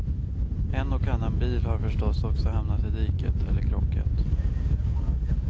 En och annan bil har förstås också hamnat i diket eller krockat.